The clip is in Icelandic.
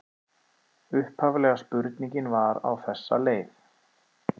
Upphaflega spurningin var á þessa leið: